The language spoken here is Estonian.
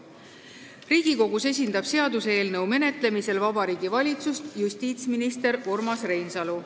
Riigikogus esindab seaduseelnõu menetlemisel Vabariigi Valitsust justiitsminister Urmas Reinsalu.